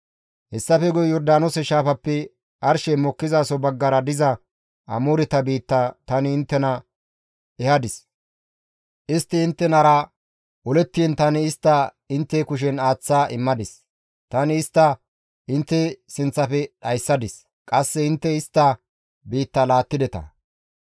« ‹Hessafe guye Yordaanoose shaafappe arshey mokkizaso baggara diza Amooreta biitta tani inttena ehadis. Istti inttenara olettiin tani istta intte kushen aaththa immadis; tani istta intte sinththafe dhayssadis; qasse intte istta biitta laattideta.